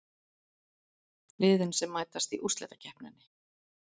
Liðin sem mætast í úrslitakeppninni